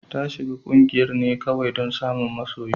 Ta shiga kungiyar ne kawai don samun masoyi.